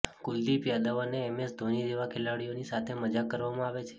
કુલદીપ યાદવ અને એમએસ ધોની જેવા ખેલાડીઓની સાથે મજાક કરવામાં આવે છે